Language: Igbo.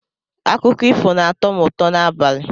Akụkọ ifo na-atọ m ụtọ n'abalị